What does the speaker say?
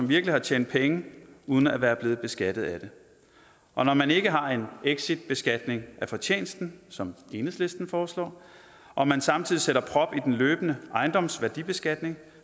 virkelig har tjent penge uden at være blevet beskattet af dem og når man ikke har en exitbeskatning som enhedslisten foreslår og man samtidig sætter prop i den løbende ejendomsværdibeskatning